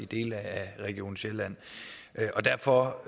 dele af region sjælland derfor